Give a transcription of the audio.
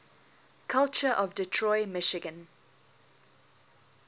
culture of detroit michigan